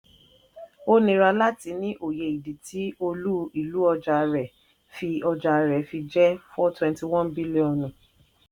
ó nira láti ní òye ìdí tí olú-ìlú ọjà rẹ̀ fi ọjà rẹ̀ fi jẹ́ four twenty one bílíọ̀nù.